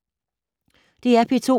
DR P2